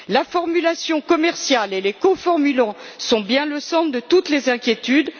La formulation commerciale et les coformulants sont bien au centre de toutes les inquiétudes.